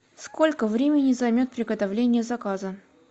сколько времени займет приготовление заказа